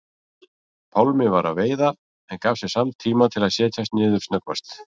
Pálmi var að veiða en gaf sér samt tíma til að setjast niður snöggvast.